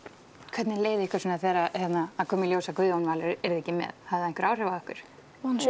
hvernig leið ykkur þegar það kom í ljós að Guðjón Valur væri ekki með hafði það áhrif á ykkur